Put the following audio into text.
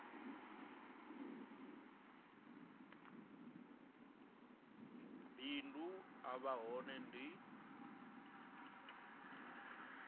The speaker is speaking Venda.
bindu a vha hone ndi